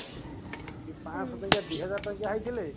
ପାଞ୍ଚଶହ ଟଙ୍କିଆ ଦିହଜାର ଟଙ୍କିଆ ହେଇଥିଲେ